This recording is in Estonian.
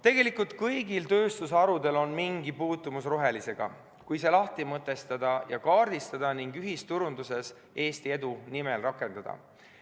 Tegelikult on kõigil tööstusharudel mingi puutumus rohelisega, kui see lahti mõtestada ja kaardistada ning ühisturunduses Eesti edu nimel rakendada.